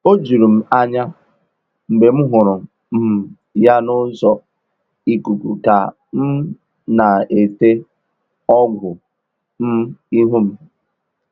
O juru m anya mgbe m hụrụ um ya n’ụzọ ikuku ka um m na-ete ọgwụ um ihu m